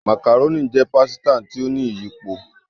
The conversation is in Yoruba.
Macaroni jé pàsìta tí o ní iyípo